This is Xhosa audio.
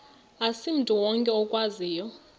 asimntu wonke okwaziyo